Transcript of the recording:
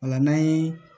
Ola n'an ye